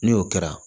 Ni o kɛra